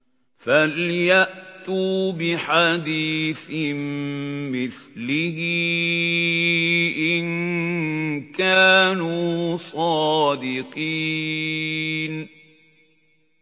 فَلْيَأْتُوا بِحَدِيثٍ مِّثْلِهِ إِن كَانُوا صَادِقِينَ